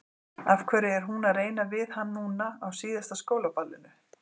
Af hverju er hún að reyna við hann núna, á síðasta skólaballinu?